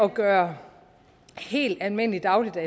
gøre helt almindelige dagligvarer